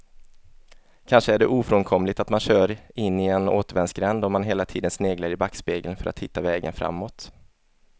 Kanske är det ofrånkomligt att man kör in i en återvändsgränd om man hela tiden sneglar i backspegeln för att hitta vägen framåt.